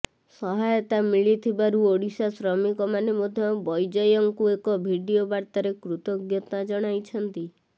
ସହାୟତା ମିଳିଥିବାରୁ ଓଡ଼ିଶା ଶ୍ରମିକମାନେ ମଧ୍ୟ ବୈଜୟଙ୍କୁ ଏକ ଭିଡିଓ ବାର୍ତ୍ତାରେ କୃତଜ୍ଞତା ଜଣାଇଛନ୍ତି